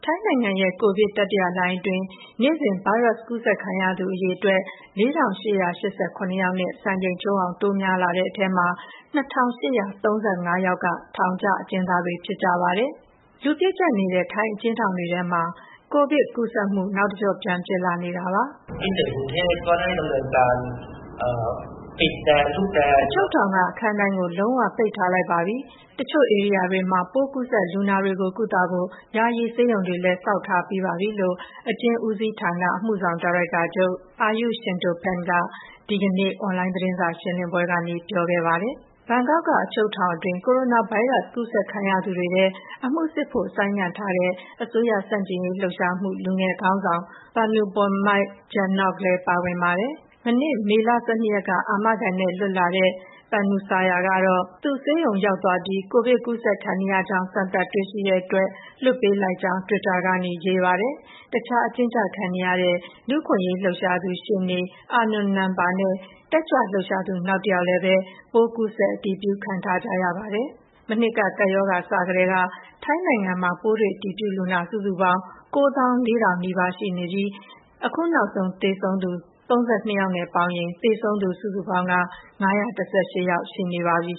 ိုင်းနိုင်ငံရဲ့ ကိုဗစ်တတိယလှိုင်းအတွင်း နေ့စဉ် ကိုရိုနာဗိုင်းရပ်စ် ကူးစက်ခံရသူအရေအတွက် ၄,၈၈၇ ယောက်နဲ့ စံချိန်ချိုးအောင် တိုးများလာတဲ့ထဲ ၂,၈၃၅ ယောက်က ထောင်ကျအကျဉ်းသားတွေ ဖြစ်ကြပါတယ်။ လူပြည့်ကျပ်နေတဲ့ ထိုင်းအကျဉ်းထောင်တွေထဲမှာ ကိုဗစ်ကူးစက်မှု နောက်တကျော့ပြန်ဖြစ်နေတာပါ။ “အချုပ်ထောင်က အခန်းတိုင်းကို လုံးဝပိတ်ထားလိုက်ပါပြီ။ တချို့ဧရိယာတွေမှာ ပိုးကူးစက် လူနာတွေကို ကုသဖို့ ယာယီဆေးရုံတွေလည်း ဆောက်ထားပြီးပါပြီ။” လို့ အကျဉ်းဦးစီးဌာန အမှုဆောင် ဒါရိုက်တာချုပ် Ayuth Sintoppant က ဒီကနေ့ အွန်လိုင်းသတင်းစာရှင်းလင်းပွဲမှာပြောခဲ့ပါတယ်။ ဘန်ကောက်မြို့တော် အချုပ်ထောင်တွင်း ကိုရိုနာဗိုင်းရပ်စ် ကူးစက်ခံရသူတွေထဲ အမှုစစ်ဖို့ ဆိုင်းငံ့ထားတဲ့ အစိုးရဆန့်ကျင်ရေးလှုပ်ရှားမှု လူငယ်ခေါင်းဆောင် Panupong "Mike" Jadnok လည်း ပါဝင်ပါတယ်။ မနေ့ မေလ ၁၂ ရက်က အာမခံနဲ့ပြန်လွတ်လာတဲ့ Panusaya ကတော့ သူ ဆေးရုံ ရောက် သားပြီး ကိုဗစ်ကူးစက်ခံနေရကြောင်း စမ်းသပ်တွေ့ရှိတဲ့အတွက် လွှတ်ပေးလိုက်ကြောင်း တွစ်တာကနေ ရေးပါတယ်။ တခြား အကျဉ်းချခံထားရတဲ့ လူ့အခွင့်အရေးလှုပ်ရှားသူ ရှေ့နေ အာနွန် နမ်ပါနဲ့ တက်ကြွ လှုပ်ရှားသူ နောက်တယောက်လည်းပဲ ပိုးကူးစက်အတည်ပြုခံထားကြရပါတယ်။ မနှစ်က ကပ်ရောဂါစကတည်းက ထိုင်းနိုင်ငံမှာ ပိုးတွေ့အတည်ပြုလူနာ စုစုပေါင်း ၉၄,၀၀၀ နီးပါး ရှိနေပြီး အခုနောက်ဆုံးသေဆုံးသူ ၃၂ ယောက်နဲ့ပေါင်းရင် သေဆုံးသူ စုစုပေါင်းက ၅၁၈ ယောက် ရှိနေပြီ